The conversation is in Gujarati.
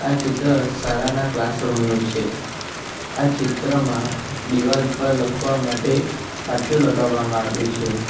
આ ચિત્ર શાળાના ક્લાસરૂમ નું છે આ ચિત્રમાં દિવાલ પર લખવા માટે પાટીયુ લગાવામાં આવ્યું છે.